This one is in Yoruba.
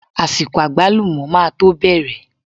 Àsìkò àgbálùmọ́ máa to bẹ̀rẹ̀.